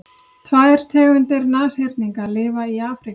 tvær tegundir nashyrninga lifa í afríku